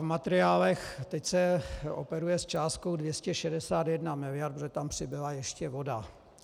V materiálech se teď operuje s částkou 261 miliard, protože tam přibyla ještě voda.